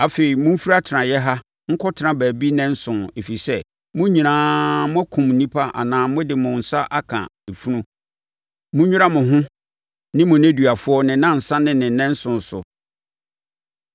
“Afei, momfiri atenaeɛ ha nkɔtena baabi nnanson, ɛfiri sɛ, mo nyinaa moakum nnipa anaa mode mo nsa aka efunu. Monnwira mo ho ne mo nneduafoɔ ne nnansa ne ne nnanson so.